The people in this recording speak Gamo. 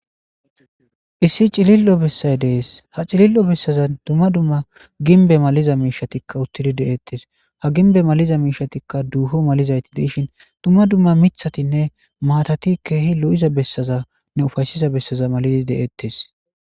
Issi cilil7o bessay dees ha cilill7o bessaza dumma dumma ginbe maliza miishatikka uttidi de7eettes ha ginbe maliza miishatikka duuho malizayti deishin dumma dumma mithatinne maatati keehi lo7iza bessazanne ufayssiza bessaza malidi deettes